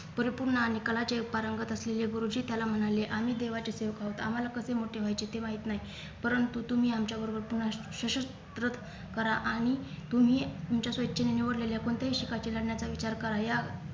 परिपूर्ण आणि कलाचे पारंगत असलेले गुरुजी त्याला म्हणाले आम्ही देवाचे सेवक आहोत आम्हाला कसे मोठे व्हायचे ते माहित नाही परंतु तुम्ही आमच्याबरोबर पुन्हा सुषुत परत करा आणि तुम्ही तुमच्या स्वइच्छेने निवडलेले कोणत्याही शिखाचे लढण्याचा विचार करा या